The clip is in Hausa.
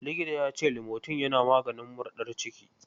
Likitan ya ce limotin yana maganin murɗar ciki.